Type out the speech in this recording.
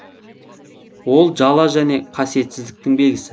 ол жала және қасиетсіздіктің белгісі